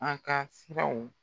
An ka siraw